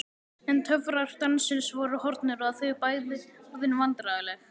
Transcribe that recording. En töfrar dansins voru horfnir og þau bæði orðin vandræðaleg.